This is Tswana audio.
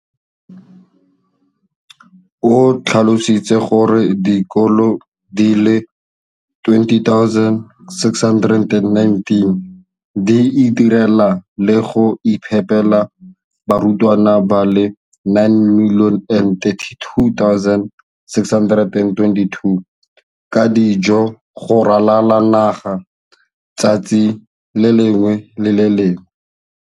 O tlhalositse gore dikolo di le 20 619 di itirela le go iphepela barutwana ba le 9 032 622 ka dijo go ralala naga letsatsi le lengwe le le lengwe.